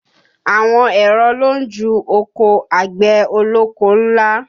Àwọn èrọ ló ń ju oko àgbẹ̀ ọlọ́kọ́ ńlá